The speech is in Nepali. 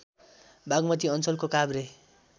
बागमती अञ्चलको काभ्रे